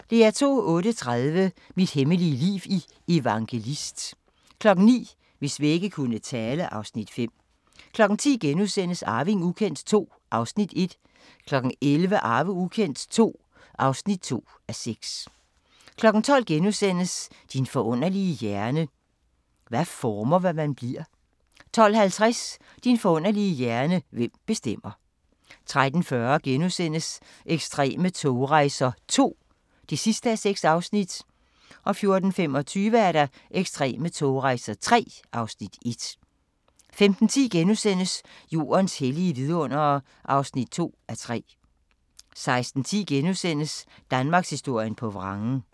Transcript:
08:30: Mit hemmelige liv i Evangelist 09:00: Hvis vægge kunne tale (Afs. 5) 10:00: Arving ukendt II (1:6)* 11:00: Arving ukendt II (2:6) 12:00: Din forunderlige hjerne: Hvad former, hvem man bliver? * 12:50: Din forunderlige hjerne: Hvem bestemmer? 13:40: Ekstreme togrejser II (6:6)* 14:25: Ekstreme togrejser III (Afs. 1) 15:10: Jordens hellige vidundere (2:3)* 16:10: Danmarkshistorien på vrangen (1:6)*